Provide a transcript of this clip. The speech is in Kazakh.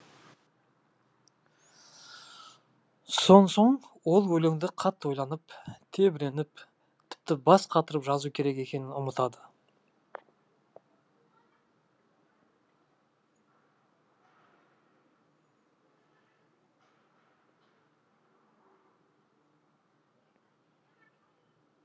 сонсоң ол өлеңді қатты ойланып тебіреніп тіпті бас қатырып жазу керек екенін ұмытады